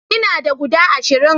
ina da guda ashirin